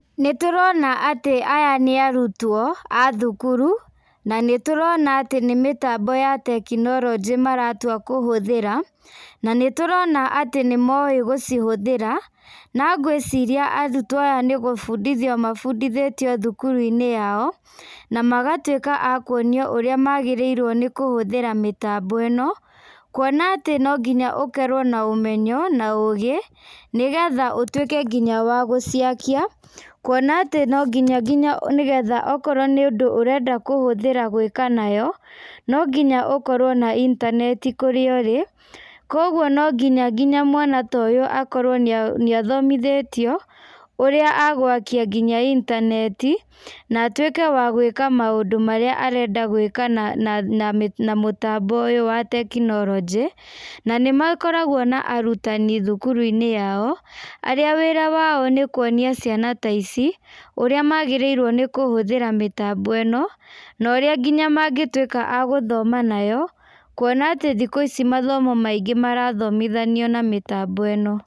Nĩ tũrona atĩ aya nĩ arutwo a thukuru na nĩtũrona atĩ nĩmĩtambo ya tekinoronjĩ maratua kũhũthĩra na nĩtũrona atĩ nĩmoĩ gũcihũthĩra, na ngwĩciria arutwo aya nĩgũbundithio mabundithĩtio thukuru-inĩ yao na magatuĩka akuonio ũrĩa magĩrĩirwo nĩ kũhũthĩra mĩtambo ĩno kuona atĩ no nginya ũkorwo na ũmenyo na ũgĩ nĩgetha ũtwĩke wa nginya wa gũciakia kuona ati no nginya nginya okorwo nĩ ũndũ ũrenda kũhũthĩra gwĩka nayo, no nginya ũkorwo na itaneti kũrĩa ũrĩ, kũoguo no nginya nginya mwana ta ũyũ akorwo nĩ athomithĩtio ũrĩa agwakia nginya itaneti na atuĩke wa gwĩka maũndũ marĩa arenda gwĩka na mũtambo ũyũ wa tekinoronjĩ na nĩmakoragwo na arutani thukuru-inĩ wao arĩa wĩra wao nĩ kuonia ciana ta ici ũrĩa magĩrĩirwo nĩ kũhũthĩra mĩtambo ĩno no ũrĩa mangĩtuĩka agũthoma nayo kũona atĩ thikũ ici mathomo maingĩ marathomithanio na mĩtambo ĩno.